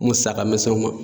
Musaka misɛnw ma.